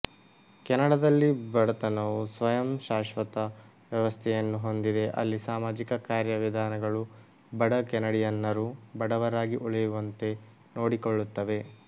ಕೆನಡಾದಲ್ಲಿ ಬಡತನವು ಸ್ವಯಂಶಾಶ್ವತ ವ್ಯವಸ್ಥೆಯನ್ನು ಹೊಂದಿದೆ ಅಲ್ಲಿ ಸಾಮಾಜಿಕ ಕಾರ್ಯವಿಧಾನಗಳು ಬಡ ಕೆನಡಿಯನ್ನರು ಬಡವರಾಗಿ ಉಳಿಯುವಂತೆ ನೋಡಿಕೊಳ್ಳುತ್ತವೆ